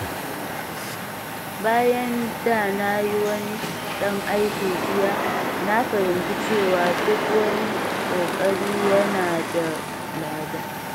Bayan da na yi wani ɗan aiki jiya, na fahimci cewa duk wani ƙoƙari yana da lada.